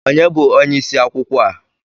Onye bụ onye isi akwụkwọ a?